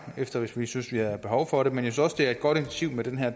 hvis vi synes vi har behov for det men jeg synes også det er et godt initiativ med den her